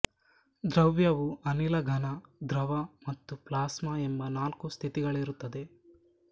ದ್ರವ್ಯವು ಅನಿಲ ಘನ ದ್ರವ ಮತ್ತು ಪ್ಲಾಸ್ಮಾ ಎಂಬ ನಾಲ್ಕು ಸ್ಥಿತಿಗಳಲ್ಲಿರುತ್ತದೆ